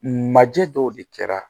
Majɛ dɔw de kɛra